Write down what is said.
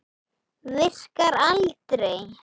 Virkar aldrei.